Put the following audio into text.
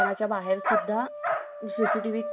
CCTV camera बसवणे गरजेचे आहे .